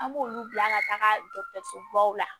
An b'olu bila ka taa dɔgɔtɔrɔso baw la